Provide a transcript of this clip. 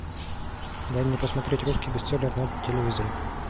дай мне посмотреть русский бестселлер на телевизоре